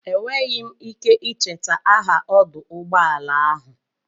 Enweghị m ike icheta aha ọdụ ụgbọala ahụ.